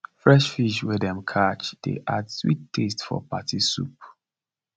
fresh fish wey dem catch dey add sweet taste for party soup